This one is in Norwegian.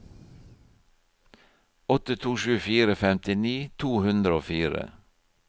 åtte to sju fire femtini to hundre og fire